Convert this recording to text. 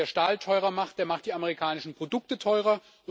Wer Stahl teurer macht, der macht die amerikanischen Produkte teurer.